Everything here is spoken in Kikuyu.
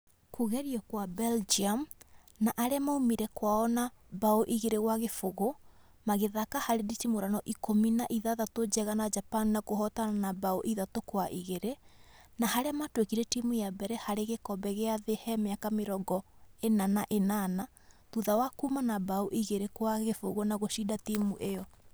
Kũgerio kwa Belgium na arĩa maumire kwao na mbaũ igĩri gwa gĩbũgũ magĩthaka harĩ nditimũrano ikũmi na ithathatũ njega na Japan na kũhotana na mbaũ ithatũ kwa igĩrĩ, na harĩa matuĩkire timũ ya mbere harĩ gĩkombe gĩa thĩ he mĩaka mĩrongo ĩna na ĩnana thutha wa kuma na mbaũ igĩrĩ kwa gĩbũgũ na gũcida nditimũrano ĩyo